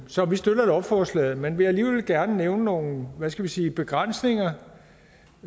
så vi støtter lovforslaget men jeg vil alligevel gerne nævne nogle hvad skal man sige begrænsninger